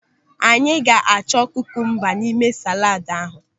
Anyị ga-achọ kukumba n'ime saladu ahụ.